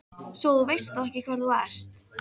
Svo að þú veist þá ekki hver þú ert.